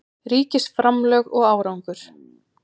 Ríkisframlög og árangur